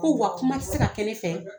Ko wa kuma tɛ se ka kɛ ne fɛ